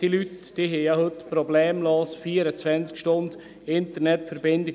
: Diese Leute haben ja heute problemlos 24 Stunden Internetverbindung.